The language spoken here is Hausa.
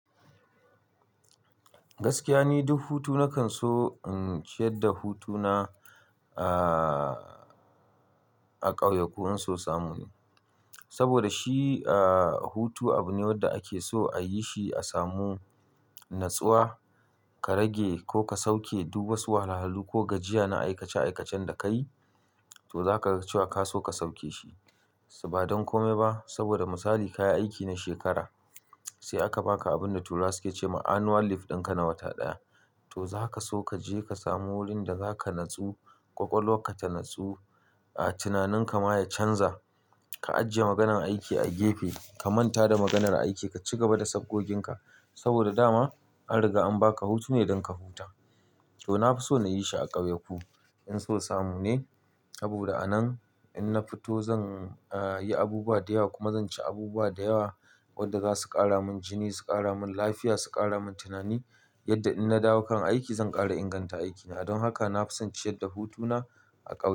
Gaskiya ne duk hutu nakan so in ciyar da hutuna, aaah, a ƙauye ko in so samu ne. Saboda shi, aaah, hutu abu ne wanda ake so a yi shi a samu natsuwa, ka rage ko ka sauke duk wasu wahalhalu ko gajiya na aikace-aikacen da kayi, to za kaga cewa ka so ka sauke shi. Ba don kome ba saboda misali ka yi aiki na shekara sai aka baka abin da turawa suke cewa annual leave ɗin ka na wata ɗaya. To za ka so ka je ka samu wurin da za ka natsu, ƙwaƙwalwa ka ta natsu, aaah, tunaninka ma ya canza. Ka ajiye maganar aiki a gefe, ka manta da maganar aiki ka ci gaba da sabgoginka saboda dama an riga an baka hutu ne don ka huta. To na fi so na yi shi a ƙauyaku in so samu ne saboda a nan in na fito zan, aaah, yi abubuwa da yawa kuma zan ci abubuwa da yawa wadda za su ƙara min jini, su ƙara min lafiya, su ƙara min tunani yadda in na dawo kan aiki zan ƙara inganta aikina. Don haka na fi son ciyar da hutuna a ƙauye.